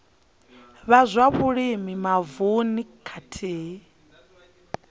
vha zwa vhulimi mavununi khathihi